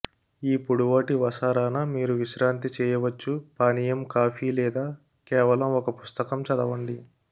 ఈ పొడవాటి వసారా న మీరు విశ్రాంతి చేయవచ్చు పానీయం కాఫీ లేదా కేవలం ఒక పుస్తకం చదవండి